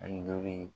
Ani duuru ye